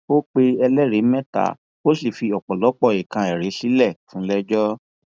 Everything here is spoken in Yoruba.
ó pe ẹlẹrìí mẹta ó sì fi ọpọlọpọ nǹkan ẹrí sílẹ fúnlẹẹjọ